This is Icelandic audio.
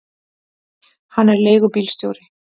Hann er leigubílstjóri.